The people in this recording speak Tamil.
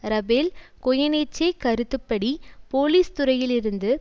ரபேல் கொயனேச்சே கருத்து படி போலீஸ் துறையிலிருந்து